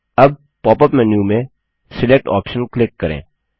अब pop up menu में select option click करें